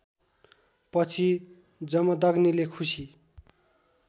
पछि जमदग्नीले खुसी